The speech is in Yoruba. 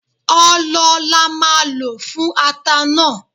Ọlọ là máà lo fún ata náà